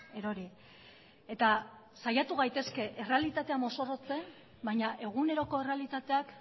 erori eta saiatu gaitezke errealitatea mozorrotzen baina eguneroko errealitateak